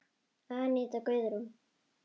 Aníta Guðrún.